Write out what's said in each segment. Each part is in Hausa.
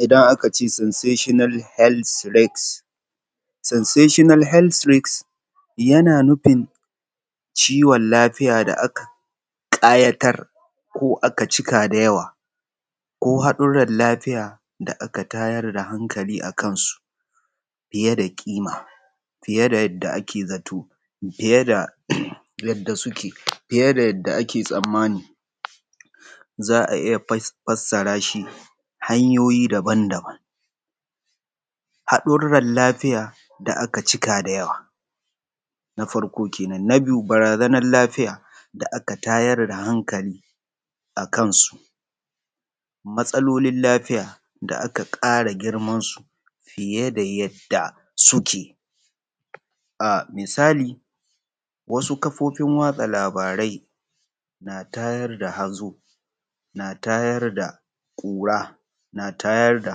Idan aka ce sensational health risk, sensational health risk, yana nufin kiwon lafiya da aka ƙayatar da cika da yawa ko hadurar lafiya da aka tayar da hankali a kansu foye da ƙima fiye da yadda ake zato fiye davyadda suke, fiye da yadda ake tsammani. Za a iya fassara shi hanyoyi daban-daban. Haɗaran lafiya da aka cika da yawa. Na biyu shi ne Barazanar lafiya da aka tayar da hankali a kansu, matsalolin lafiya da aka ƙara girmansu fiye da yadda suke. Misali wasu kafofin yaɗa labarai na tayar da hazo na tayar da ƙura na tayar da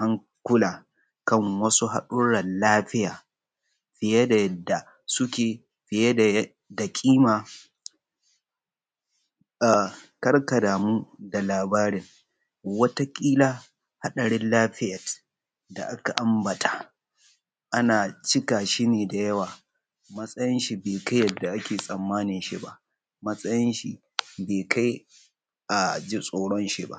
hankula kan wasu haɗurar lafiya fiye da yadda suke, fiye da ƙima, karka damu da labari wata kila hadarin lafiya kamar yadda aka ambata an cika shi ne da yawa, mtsayin shi bai kai yadda ake tsammani shi ba matsayin shi bai kai a ji tsoron shi ba.